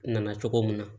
Nana cogo min na